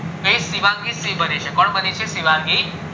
શિવાંગી સિંહ બની છે કોણ બની છે શિવાંગી સિંહ બની છે